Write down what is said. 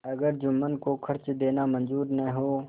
अगर जुम्मन को खर्च देना मंजूर न हो